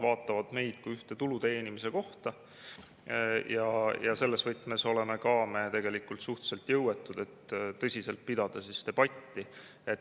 Pangad vaatavad meid kui ühte tulu teenimise kohta ja selles võtmes oleme me tegelikult suhteliselt jõuetud, et tõsiselt pidada debatti.